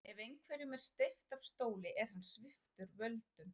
Ef einhverjum er steypt af stóli er hann sviptur völdum.